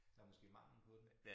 Der måske mangel på dem